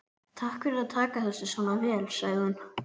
Takk fyrir að taka þessu svona vel, sagði hún.